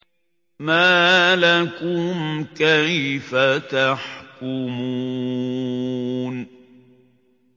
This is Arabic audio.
مَا لَكُمْ كَيْفَ تَحْكُمُونَ